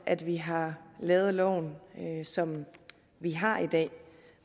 at vi har lavet loven som vi har i dag